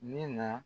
Min na